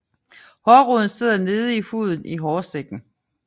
Hårroden sidder nede i huden i hårsækken